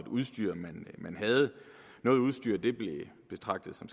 udstyr man havde noget udstyr blev betragtet som